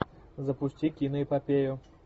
запусти киноэпопею